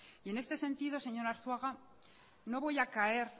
y en este sentido señor arzuaga no voy a caer